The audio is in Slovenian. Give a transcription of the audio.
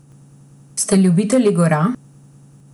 Ste ljubitelji gora?